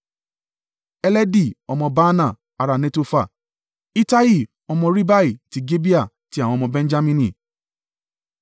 Heledi ọmọ Baanah, ará Netofa, Ittai ọmọ Ribai to Gibeah ti àwọn ọmọ Benjamini;